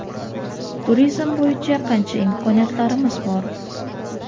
turizm bo‘yicha qancha imkoniyatlarimiz bor.